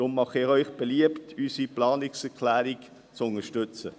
Deshalb mache ich Ihnen beliebt, unsere Planungserklärung zu unterstützen.